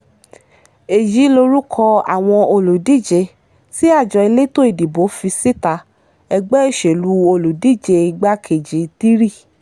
èyí lorúkọ àwọn olùdíje tí àjọ elétò ìdìbò fi síta ẹgbẹ́ òṣèlú olùdíje ìgbàkejì three